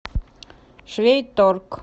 швейторг